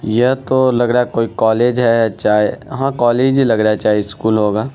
यह तो लग रहा कोई कोलेज है चाहे हां कोलेज ही लग रहा है चाहे स्कूल होगा।